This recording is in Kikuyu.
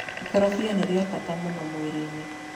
Ikorobia nĩ rĩa bata mũno mwĩrĩ-inĩ.